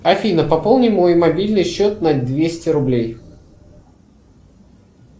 афина пополни мой мобильный счет на двести рублей